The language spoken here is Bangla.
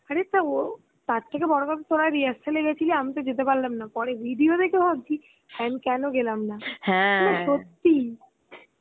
আরে তাও তার থেকে বড় কথা তরা rehearsal এ গেছিলি, আমি তো যেতে পারলামনা পরে video দেখে ভাবছি কেন গেলাম না সত্যি